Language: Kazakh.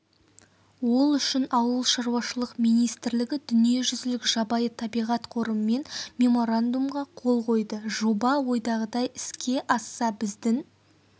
ол үшін ауылшаруашылық министрлігі дүниежүзілік жабайы табиғат қорымен меморандумға қол қойды жоба ойдағыдай іске асса біздің